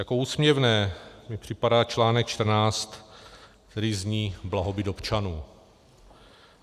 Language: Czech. Jako úsměvné mi připadá článek 14, který zní Blahobyt občanů.